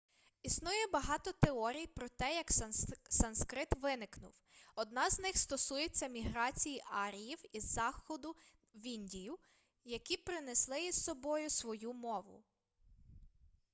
існує багато теорій про те як санскрит виникнув одна з них стосується міграції аріїв із заходу в індію які принесли із собою свою мову